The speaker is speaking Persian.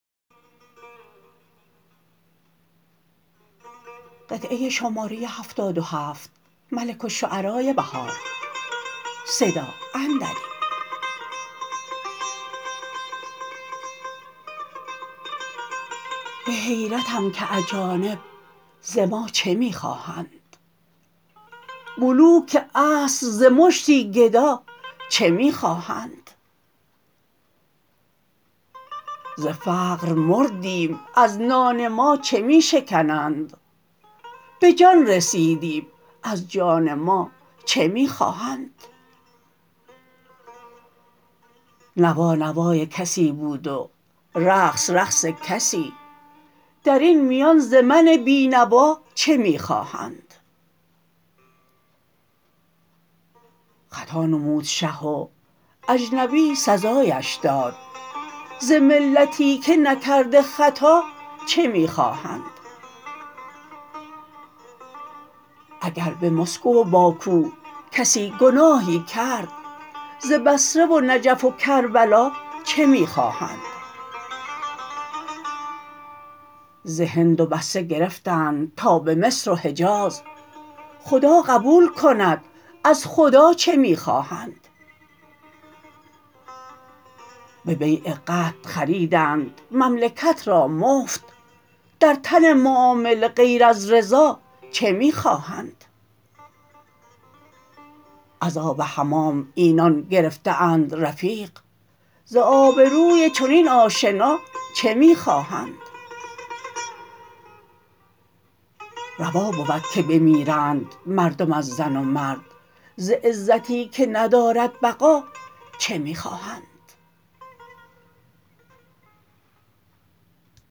به حیرتم که اجانب ز ما چه می خواهند ملوک عصر ز مشتی گدا چه می خواهند ز فقر مردیم از نان ما چه می شکنند به جان رسیدیم از جان ما چه می خواهند نوا نوای کسی بود و رقص رقص کسی درین میان ز من بینوا چه می خواهند خطا نمود شه و اجنبی سزایش داد ز ملتی که نکرده خطا چه می خواهند اگر به مسکو و باکو کسی گناهی کرد ز بصره و نجف و کربلا چه می خواهند ز هند و بصره گرفتند تا به مصر و حجاز خدا قبول کند از خدا چه می خواهند به بیع قطع خریدند مملکت را مفت در این معامله غیر از رضا چه می خواهند از آب حمام اینان گرفته اند رفیق ز آبروی چنین آشنا چه می خواهند روا بود که بمیرند مردم از زن و مرد ز عزتی که ندارد بقا چه می خواهند